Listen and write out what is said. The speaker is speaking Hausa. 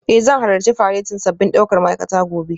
Eh zan halarci faretin sabbin daukar ma'aikata gobe